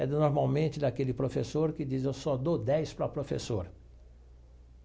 É normalmente daquele professor que diz, eu só dou dez para o professor.